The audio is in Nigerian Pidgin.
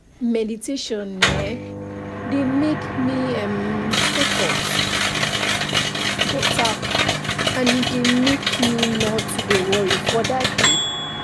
meditation eh dey make me um focus beta and e dey make me nor too dey worry for that day